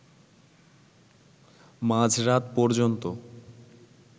মাঝরাত পর্যন্ত